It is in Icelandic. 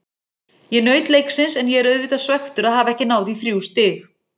Ég naut leiksins en ég er auðvitað svekktur að hafa ekki náð í þrjú stig.